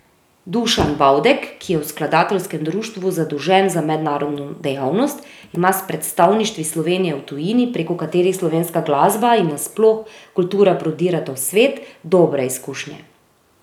Dušan Bavdek, ki je v skladateljskem društvu zadolžen za mednarodno dejavnost, ima s predstavništvi Slovenije v tujini, prek katerih slovenska glasba in na sploh kultura prodirata v svet, dobre izkušnje.